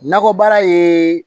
Nakɔ baara ye